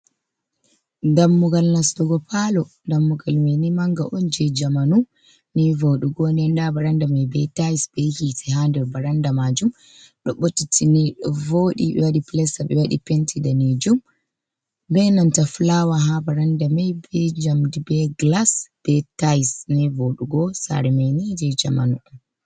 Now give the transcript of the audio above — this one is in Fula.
Dammugal nastugo palo. Dammugal mai ni manga on je jamanu, Ni voɗugo nden nda varanda mai be tayis be hite ha nder varanda majum, Do ɓotitini ɗo voɗi ɓe waɗi pilasta ɓe waɗi penti danejum be nanta fulawa ha varanda mai, be njamdi be gilas be tayis, Ni vodugo, Sare mai ni je jamanu.